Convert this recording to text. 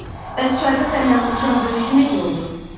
Bəs çayda sənlə vuruşan döyüşçü necə oldu?